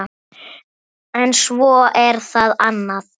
En svo er það annað.